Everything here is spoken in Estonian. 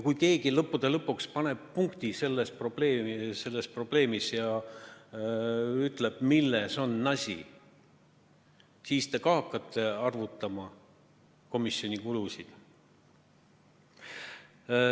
Kui keegi lõppude lõpuks paneb sellele probleemile punkti ja ütleb, milles on asi, siis te hakkate arvutama komisjoni kulusid.